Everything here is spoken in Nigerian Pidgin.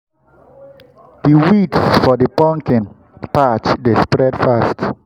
the weeds for the pumpkin patch dey spread fast.